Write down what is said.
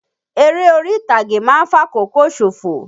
Eré orí-ìtàgé ma ń fàkókò ṣòfò.